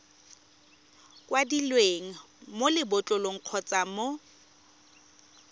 kwadilweng mo lebotlolong kgotsa mo